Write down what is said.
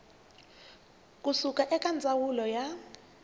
ku suka eka ndzawulo ya